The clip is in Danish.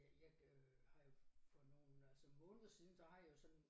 Jeg jeg øh har jo for nogle altså måneder siden der har jeg jo sådan